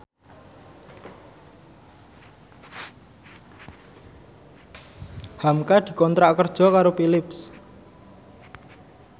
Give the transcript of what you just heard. hamka dikontrak kerja karo Philips